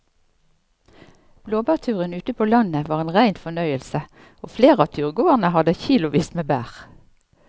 Blåbærturen ute på landet var en rein fornøyelse og flere av turgåerene hadde kilosvis med bær.